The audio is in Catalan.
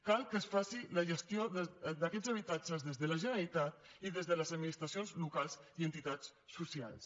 cal que es faci la gestió d’aquests habitatges des de la generalitat i des de les administracions locals i entitats socials